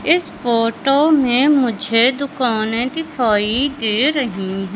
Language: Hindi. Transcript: इस फोटो में मुझे दुकानें दिखाई दे रही--